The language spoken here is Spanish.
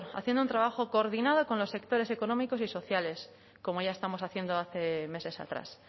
haciendo un trabajo coordinado con los sectores económicos y sociales como ya estamos haciendo hace meses atrás